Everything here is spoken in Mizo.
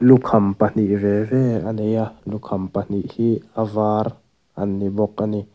lukham pahnih ve ve a ni a lukham pahnih hi a var a ni bawk a ni.